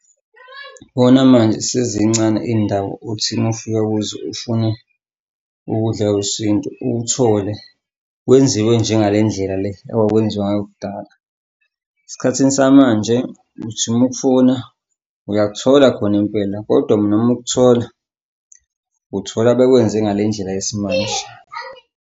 Bona manje sezincane iy'ndawo othi uma ufika kuzo ufune ukudla kwesintu ukuthole kwenziwe njengale ndlela le okwakwenziwa ngayo kudala. Esikhathini samanje uthi uma ukufuna, uyakuthola khona impela kodwa noma ukuthola uthola bekwenze ngale ndlela yesimanje.